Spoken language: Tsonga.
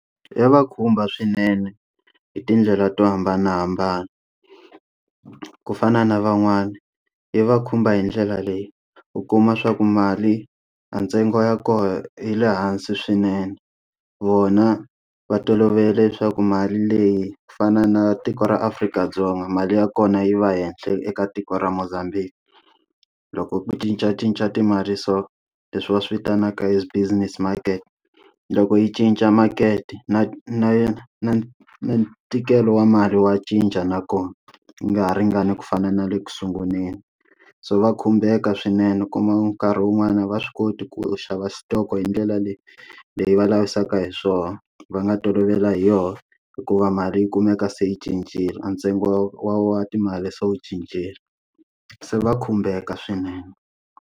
Ya va khumba swinene hi tindlela to hambanahambana. Ku fana na van'wana yi va khumba hi ndlela leyi, u kuma leswaku mali a ntsengo ya koho yi le hansi swinene. Vona va tolovele leswaku mali leyi ku fana na tiko ra Afrika-Dzonga mali ya kona yi va henhla eka tiko ra Mozambique. Loko ku cincacinca timali so, leswi va swi vitanaka as business market. Loko yi cinca makete na na yena na ntikelo wa mali wa cinca nakona yi nga ha ringani ku fana na le ku sunguleni. So va khumbeka swinene u kumaku nkarhi wun'wani va swi koti ku xava xitoko hi ndlela leyi leyi va lavisaka hi swona va nga tolovela hi yona hikuva mali yi kumeka se yi cincile. Ntsengo wa wa timali se wu cincile, se va khumbeka swinene.